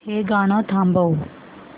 हे गाणं थांबव